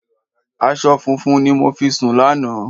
Aṣọ funfun ni mo fi sùn lánàá.